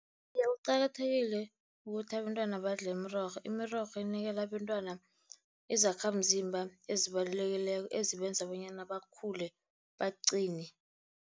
Kuqakathekile ukuthi abentwana badle imirorho. Imirorho inikela abentwana izakhamzimba ezibalulekileko ezibenza bonyana bakhule baqine.